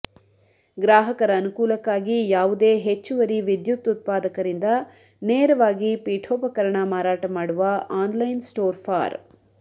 ಗ್ರಾಹಕರ ಅನುಕೂಲಕ್ಕಾಗಿ ಯಾವುದೇ ಹೆಚ್ಚುವರಿ ವಿದ್ಯುತ್ ಉತ್ಪಾದಕರಿಂದ ನೇರವಾಗಿ ಪೀಠೋಪಕರಣ ಮಾರಾಟಮಾಡುವ ಆನ್ಲೈನ್ ಸ್ಟೋರ್ ಫಾರ್